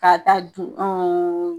K'a ta dun